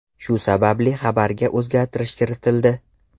Shu sababli xabarga o‘zgartirish kiritildi.